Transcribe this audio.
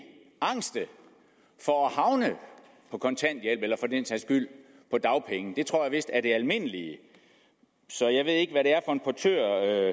angste for at havne på kontanthjælp eller for den sags skyld på dagpenge det tror jeg vist er det almindelige så jeg ved ikke hvad det er en portør